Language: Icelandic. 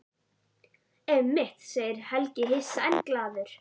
Einmitt, segir Helgi hissa en glaður.